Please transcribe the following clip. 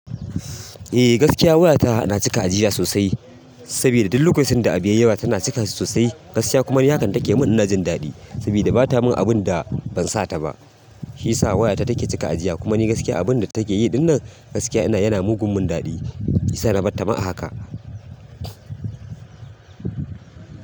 Eh gaskiya wayata na cika jiya sosai, sabida duk lokacin da abu yayi yawa tana cika sosai, gaskiya kuma ni hakan da take mun ina jin daɗi, sabida bata mun abun da ban sata ba. Shiyasa wayata take cika ajiya kuma ni gaskiya abun da take yi ɗinnan gaskiya yana mugun min daɗi. Shiyasa na bar ta ma a haka.